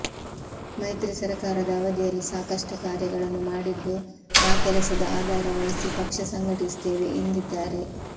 ಮೈತ್ರಿ ಸರ್ಕಾರದ ಅವಧಿಯಲ್ಲಿ ಸಾಕಷ್ಟು ಕಾರ್ಯಗಳನ್ನು ಮಾಡಿದ್ದು ಆ ಕೆಲಸದ ಆಧಾರವಹಿಸಿ ಪಕ್ಷ ಸಂಘಟಿಸುತ್ತೇವೆ ಎಂದಿದ್ದಾರೆ